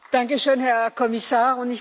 Danke schön, Herr Kommissar!